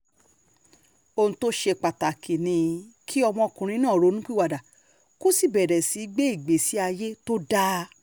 ohun tó ṣe pàtàkì ni kí ọmọkùnrin náà ronúpìwàdà kó sì bẹ̀rẹ̀ sí í gbé ìgbésí ayé tó dáa